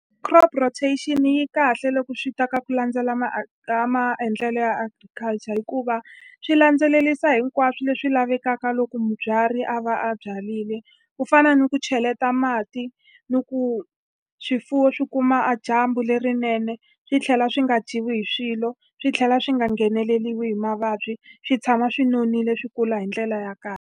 Crop rotation yi kahle loko swi ta ka ku landzela maendlelo ya agriculture hikuva swi landzelerisa hinkwaswo leswi lavekaka loko mubyari a va a byarile. Ku fana ni ku cheleta mati, ni ku swifuwo swi kuma a dyambu lerinene, swi tlhela swi nga dyiwi hi swilo. Swi tlhela swi nga ngheneleriwe hi mavabyi, swi tshama swi nonile, swi kula hi ndlela ya kahle.